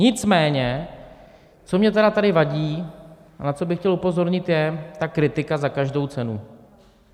Nicméně co mně tedy tady vadí a na co bych chtěl upozornit, je ta kritika za každou cenu.